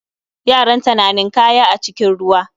Yaranta na ninkaya a cikin ruwa